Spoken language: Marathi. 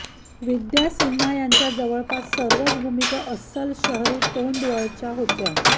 विद्या सिन्हा यांच्या जवळपास सर्वच भूमिका अस्सल शहरी तोंडवळाच्या होत्या